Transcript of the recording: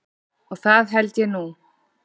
Og það held ég nú.